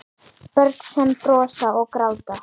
Börn sem brosa og gráta.